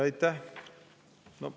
Aitäh!